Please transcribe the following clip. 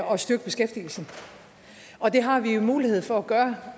at styrke beskæftigelsen og det har vi jo mulighed for at gøre